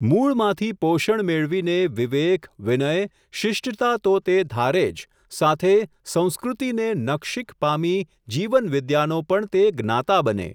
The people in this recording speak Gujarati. મૂળમાંથી પોષણ મેળવીને વિવેક, વિનય, શિષ્ટતા તો તે ધારેજ સાથે, સંસ્કૃતિને નખશિખ પામી જીવનવિદ્યાનો પણ તે જ્ઞાતા બને.